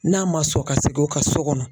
N'a ma sɔn ka segin o ka so kɔnɔ